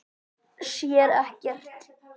Sér ekkert.